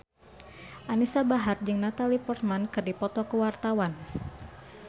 Anisa Bahar jeung Natalie Portman keur dipoto ku wartawan